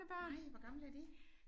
Nej! Hvor gamle er de?